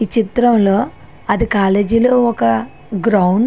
ఈ చిత్రం లో అది కాలేజీ ఒక గ్రౌండ్ .